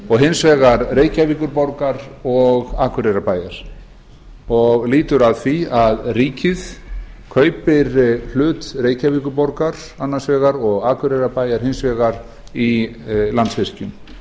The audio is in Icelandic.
og hins vegar reykjavíkurborgar og akureyrarbæjar það lýtur að því að ríkið kaupir hlut reykjavíkurborgar annars vegar og akureyrarbæjar hins vegar í landsvirkjun